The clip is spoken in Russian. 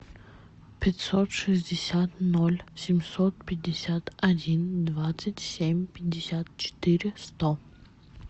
пятьсот шестьдесят ноль семьсот пятьдесят один двадцать семь пятьдесят четыре сто